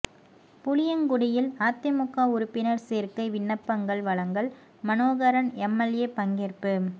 புளியங்குடியில் அதிமுக உறுப்பினர் சேர்க்கை விண்ணப்பங்கள் வழங்கல் மனோகரன் எம்எல்ஏ பங்கேற்பு